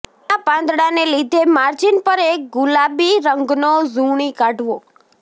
તેના પાંદડાને લીધે માર્જીન પર એક ગુલાબી રંગનો ઝુણી કાઢવો